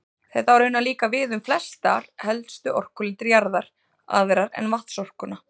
Þetta á raunar líka við um flestar helstu orkulindir jarðar, aðrar en vatnsorkuna.